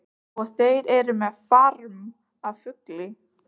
Og þeir eru með farm af fugli.